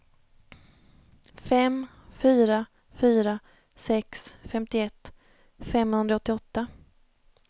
fem fyra fyra sex femtioett femhundraåttioåtta